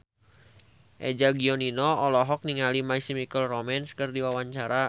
Eza Gionino olohok ningali My Chemical Romance keur diwawancara